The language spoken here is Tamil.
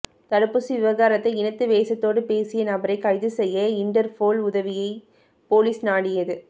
தடுப்பூசி விவகாரத்தை இனத்துவேசத்தோடு பேசிய நபரை கைது செய்ய இன்டர்போல் உதவியை போலீஸ் நாடியது